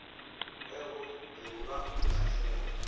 ge go e lwa dikgahlego